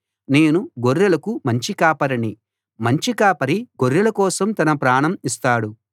నేను గొర్రెలకు మంచి కాపరిని మంచి కాపరి గొర్రెల కోసం తన ప్రాణం ఇస్తాడు